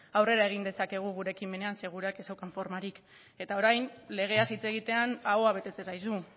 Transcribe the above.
aurrera egin dezakegu gure ekimenean zeren gureak ez zuen formarik eta orain legeaz hitz egitean ahoa betetzen zaizu